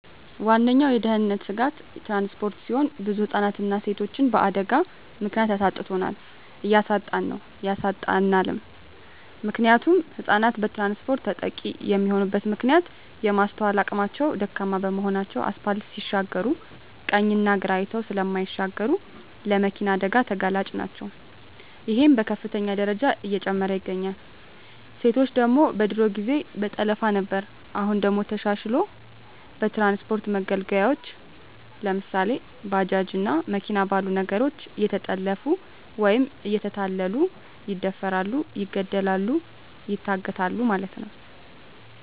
ዋነኛዉ የድህንነት ስጋት ትራንስፖርት ሲሆን ብዙ ህፃናትንና ሴቶችን በአደጋ ምክንያት አሳጥቶናል እያሳጣን ነዉ ያሳጣናልም። ምክንያቱም ህፃናት በትራንስፖርት ተጠቂ የሚሆኑበት ምክንያት የማስትዋል አቅማቸዉ ደካማ በመሆናቸዉ አስፓልት ሲሻገሩ ቀኝና ግራ አይተዉ ስለማይሻገሩ ለመኪና አደጋ ተጋላጭ ናቸዉ ይሄም በከፍተኛ ደረጃ እየጨመረ ይገኛል። ሴቶች ደግሞ በድሮ ጊዜ በጠለፋ ነበር አሁን ደግሞ ተሻሽልሎ በትራንስፖርት መገልገያወች ለምሳሌ፦ ባጃጅ እና መኪና ባሉ ነገሮች እየተጠለፊፉ ወይም እየተታለሉ ይደፈራሉ ይገደላሉ ይታገታሉ ማለት ነዉ።